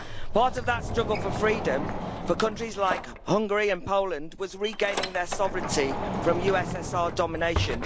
Part of that struggle for freedom for countries like Hungary and Poland was regaining their sovereignty from USSR domination.